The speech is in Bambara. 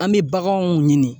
An bɛ baganw ɲini.